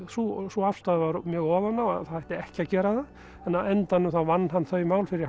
sú sú afstaða var mjög ofan á að það ætti ekki að gera það en á endanum þá vann hann þau mál fyrir